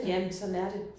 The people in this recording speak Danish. Jamen sådan er det